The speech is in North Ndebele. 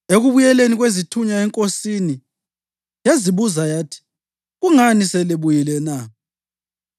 Ekubuyeleni kwezithunywa enkosini, yazibuza yathi, “Kungani selibuyile na?”